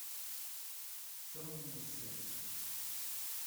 темное сердце